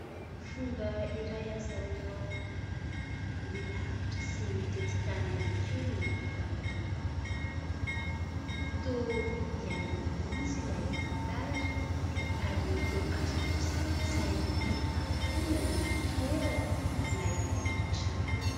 Fomba iray ahazoanao mandeha lavitra sy mitety tany ihany koa ny famakiam-boky. Toa iainanao mihitsy ilay tantara ary toa azonao sary an-tsaina avokoa na ny toerana na ilay trano.